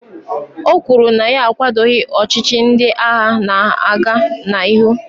o kwuru na ya akwadoghị ọchịchị ndị agha na-aga n'ihu